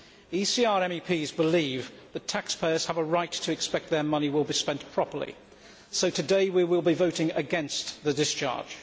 ECR MEPs believe that taxpayers have a right to expect their money will be spent properly, so today we will be voting against the discharge.